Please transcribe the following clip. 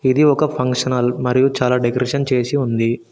ఇది ఒక function hall మరియు చాలా డెకరేషన్ చేసి ఉంది.